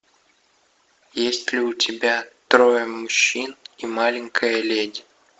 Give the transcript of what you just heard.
есть ли у тебя трое мужчин и маленькая леди